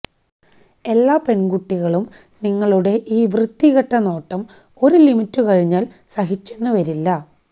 എല്ലാ പെണ്കുട്ടികളും നിങ്ങളുടെ ഈ വൃത്തികെട്ട നോട്ടം ഒരു ലിമിറ്റ് കഴിഞ്ഞാല് സഹിച്ചെന്നു വരില്ല